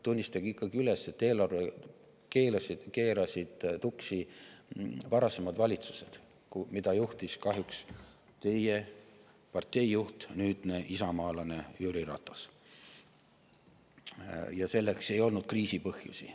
Tunnistage ikkagi üles, et eelarve keerasid tuksi varasemad valitsused, mida juhtis kahjuks teie partei juht, nüüdne isamaalane Jüri Ratas, ja selleks ei olnud kriisipõhjusi.